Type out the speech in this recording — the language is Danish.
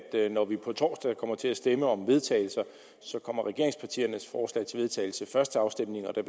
at når vi på torsdag kommer til at stemme om vedtagelse så kommer regeringspartiernes forslag til vedtagelse først til afstemning og der